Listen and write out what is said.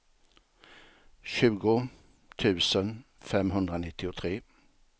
tjugo tusen femhundranittiotre